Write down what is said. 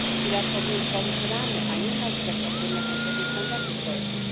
Filar powinien tworzyć ramy, a nie narzucać odgórne, konkretne standardy społeczne.